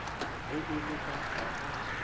ge e le ka ga